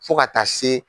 Fo ka taa se